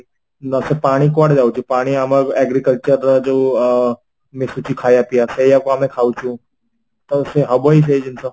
ନାଶେ ପାଣି କୁଆଡେ ଯାଉଛି ପାଣି ଆମ agricultural ଯୋଉ ଆଁ ମିଶୁଛି ଖାଇବା ପିବା ସେଇଆକୁ ଆମେ ଖାଉଚୁ ତ ସେ ହବ ସେଇ ଜିନିଷ